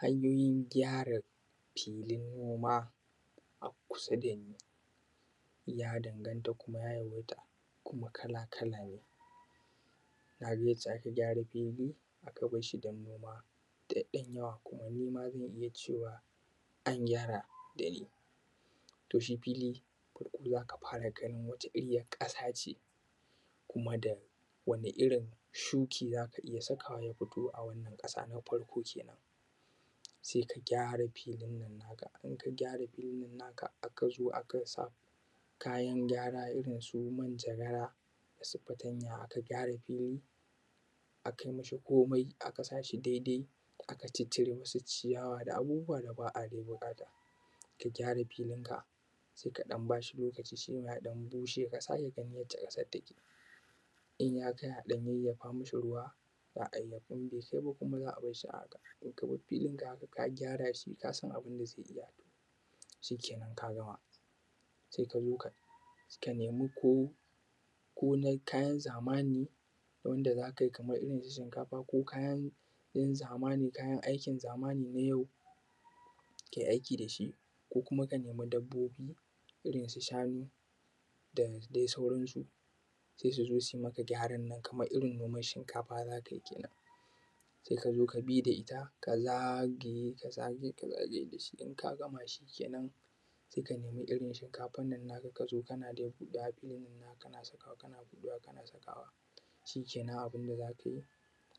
Hanyoyin gyara filin noma a kusa da mu ya danganta kuma ya yawaita kala-kala ne. Ka ga yanda aka gyara fili aka bar shi, ba kowa ne ma za iya gyara gare shi ba. Fili za ka iya, wata irin ƙasa ce kuma da wani irin shuki za ka iya sakawa ya fito a wannan ƙasa. Na farko, se ka gyara filin nan naka, aka zo aka sa kayan gyara irin su manjagara da fatanya, aka gyara fili, aka yi mi shi komai. Aka sa shi daidai, aka caccire mi shi ciyawa da abubuwa da ba buƙata. Ka gyara filinka, sai ka ba shi lokaci, lokacin ya bushe, ka sake ganin yanda ƙasan take. In ya kai, a ɗan yayyafa mi shi ruwa ko kuma za a bar shi a haka, tun da abu ka gyara shi ka san abin da zai iya. Shi kenan ka gama, sai ka zo ka nema ko na kayan zamani wanda za ka yi, kamar su shinkafa ko kayan aikin zamani na yau, ka yi aiki da shi. Ko kuma ka nema dabbobi irin su shanu da dai sauran su, sai su zo su yi maka gyaran nan kamar in noman shinkafa za ka yi. Sai ka zo ka bi da ita ka zagaye da shi, in ka gama shi kenan sai ka nemi irin shinkafa ka zo kana huɗa a filin nan naka, kana buɗewa kana sakawa. Shi kenan abin da za ka yi,